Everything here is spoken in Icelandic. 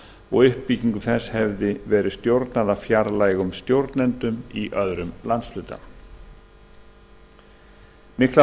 og uppbyggingu þess hefði verið stjórnað af fjarlægum stjórnendum í öðrum landshluta miklar